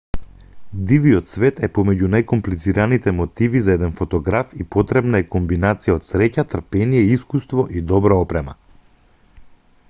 дивиот свет е помеѓу најкомплицираните мотиви за еден фотограф и потребна е комбинација од среќа трпение искуство и добра опрема